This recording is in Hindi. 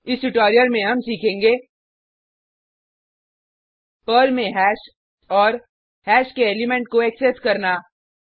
इस ट्यूटोरियल में हम सीखेंगे पर्ल में हैश और हैश के एलिमेंट को एक्सेस करना